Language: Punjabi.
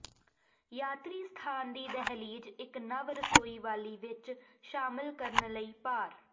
ਯਾਤਰੀ ਸਥਾਨ ਦੀ ਦਹਿਲੀਜ਼ ਇੱਕ ਨਵ ਰਸੋਈ ਵਾਲੀ ਵਿਚ ਸ਼ਾਮਿਲ ਕਰਨ ਲਈ ਪਾਰ